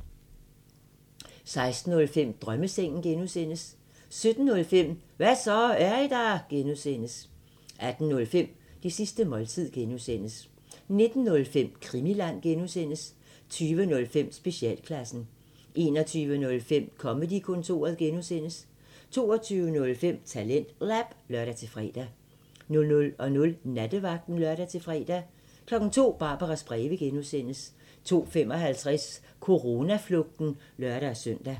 16:05: Drømmesengen (G) 17:05: Hva' så, er I der? (G) 18:05: Det sidste måltid (G) 19:05: Krimiland (G) 20:05: Specialklassen 21:05: Comedy-kontoret (G) 22:05: TalentLab (lør-fre) 00:00: Nattevagten (lør-fre) 02:00: Barbaras breve (G) 02:55: Coronaflugten (lør-søn)